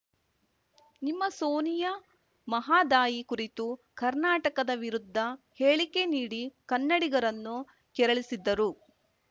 ನಿಮ್ಮ ಸೋನಿಯಾ ಮಹದಾಯಿ ಕುರಿತು ಕರ್ನಾಟಕದ ವಿರುದ್ಧ ಹೇಳಿಕೆ ನೀಡಿ ಕನ್ನಡಿಗರನ್ನು ಕೆರಳಿಸಿದ್ದರು